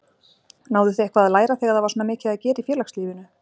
Náðu þið eitthvað að læra þegar það var svona mikið að gera í félagslífinu?